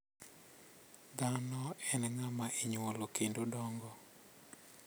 Dhano en ng`ama inyuolo kendo dongo.